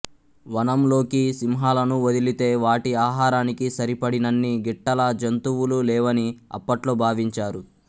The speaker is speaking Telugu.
వనం లోకి సింహాలను వదిలితే వాటి ఆహారానికి సరిపడినన్ని గిట్టల జంతువులు లేవని అప్పట్లో భావించారు